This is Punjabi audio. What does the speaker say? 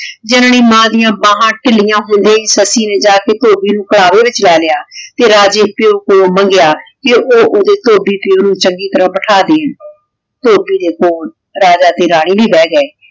ਜਾਨਨੀ ਮਾਂ ਡਿਯਨ ਬਾਹਾਂ ਤੀਲਿਯਾਂ ਹੋਂਦੀ ਹੀ ਸੱਸੀ ਨੇ ਜਾ ਕੇ ਧੋਭੀ ਨੂ ਬਾ ਵਿਚ ਲੇ ਲਾਯਾ ਤੇ ਰਾਜੇ ਕੋਲੋਂ ਪਾਯੋ ਮੰਗ੍ਯ ਕੇ ਊ ਓਦ੍ਯਾ ਧੋਭੀ ਪਾਯੋ ਨੂ ਚੰਗੀ ਤਰਹ ਬਿਠਾਵੇ ਧੋਭੀ ਦੇ ਕੋਲ ਰਾਜਾ ਤੇ ਰਾਨੀ ਵੀ ਬੇਹ ਗਾਯ